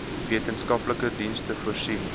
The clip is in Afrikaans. wetenskaplike dienste voorsien